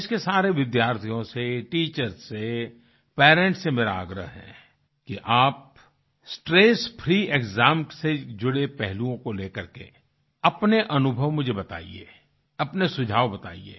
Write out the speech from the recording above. देश के सारे विद्यार्थीयों से टीचर्स से पेरेंट्स से मेरा आग्रह है कि आप स्ट्रेस फ्री एक्साम से जुड़े पहलुओं को लेकर के अपने अनुभव मुझे बताइए अपने सुझाव बताइए